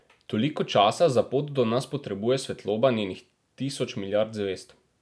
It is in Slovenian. Toliko časa za pot do nas potrebuje svetloba njenih tisoč milijard zvezd.